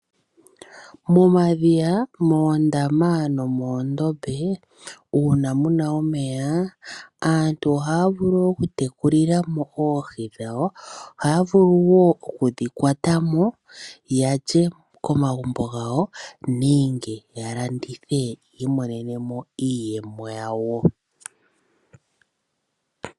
Momadhiya, moondama nomoondombe uuna muna omeya, aantu ohaya vulu okutekulila mo oohi dhawo. Ohaye dhi vulu wo oku dhi kwata mo ya lye komahumbo gawo, nenge ya landithe ya imonene mo iiyemo yawo.